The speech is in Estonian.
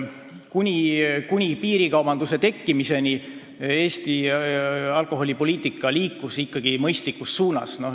Kuni piirikaubanduse tekkimiseni liikus Eesti alkoholipoliitika mõistlikus suunas.